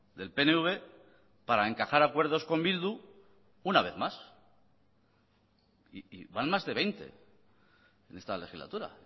del pnv para encajar acuerdos con bildu una vez más y van más de veinte en esta legislatura